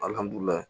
Alihamudulila